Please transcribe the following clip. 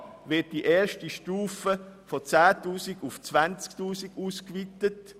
In Buchstabe a wird die erste Stufe von 10 000 auf 20 000 Franken ausgeweitet.